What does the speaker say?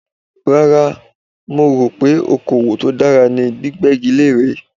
Rárá, mo rò pé okòwò tó dára ní gbígbégi lére.